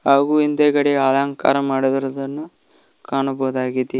ಹಾಗು ಹಿಂದೆಗಡೆ ಅಲಂಕಾರ ಮಾಡಿರುವುದನ್ನು ಕಾಣಬಹುದಾಗಿ--